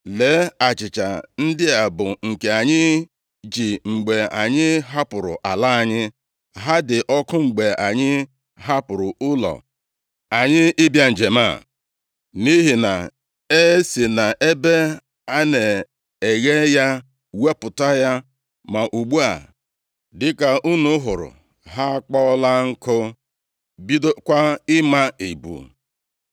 Lee achịcha ndị a bụ nke anyị ji mgbe anyị hapụrụ ala anyị. Ha dị ọkụ mgbe anyị hapụrụ ụlọ anyị ịbịa njem a, nʼihi na e si nʼebe a na-eghe ya wepụta ya, ma ugbu a, dịka unu hụrụ, ha akpọọla nkụ, bidokwa ịma ebu.